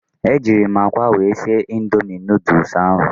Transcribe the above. Ejịrị m akwa wee sie Indomị nooduls ahụ